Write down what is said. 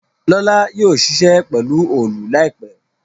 Lọla yóò ṣiṣẹ pelu Òòlù láìpé.